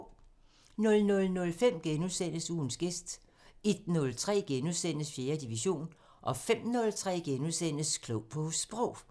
00:05: Ugens gæst * 01:03: 4. division * 05:03: Klog på Sprog *